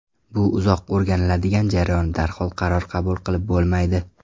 Bu uzoq o‘rganiladigan jarayon, darhol qaror qabul qilib bo‘lmaydi.